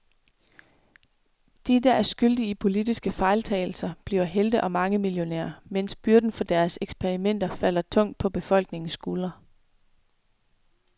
De, der er skyldige i politiske fejltagelser bliver helte og mangemillionærer, mens byrden for deres eksperimenter falder tungt på befolkningens skuldre.